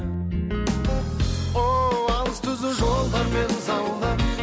ооу алыс түзу жолдармен заула